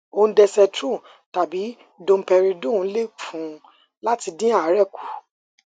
ondensetrone tàbí domperidone lè fún un láti dín àárè kù